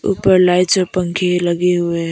ऊपर लाइट्स और पंखे लगे हुए हैं।